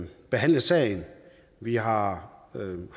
behandle sagen vi har